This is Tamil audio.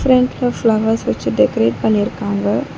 ஃபிரண்ட்ல ஃபிளவர்ஸ் வெச்சு டெக்கரேட் பண்ணிருக்காங்க.